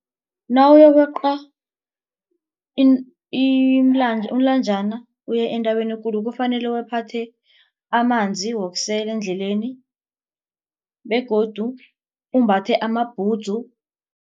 Nawuyokweqa umlanjana uye entabeni ekulu kufanele wephathe amanzi wokusela endleleni begodu umbatha amabhudzu.